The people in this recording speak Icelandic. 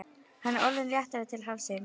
Hann er orðinn léttari til hafsins.